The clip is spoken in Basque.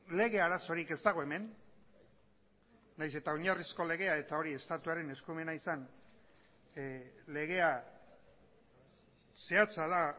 lege arazorik ez dago hemen nahiz eta oinarrizko legea eta hori estatuaren eskumena izan legea zehatza da